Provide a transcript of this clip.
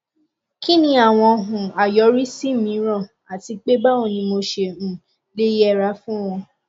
kí ni àwọn um àyọrísí mìíràn àti pé báwo ni mo ṣe um lè yẹra fún wọn